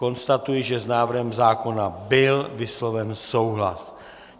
Konstatuji, že s návrhem zákona byl vysloven souhlas.